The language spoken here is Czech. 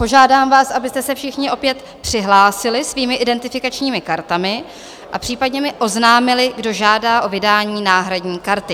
Požádám vás, abyste se všichni opět přihlásili svými identifikačními kartami a případně mi oznámili, kdo žádá o vydání náhradní karty.